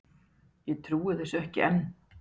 Ég trúi þessu ekki enn.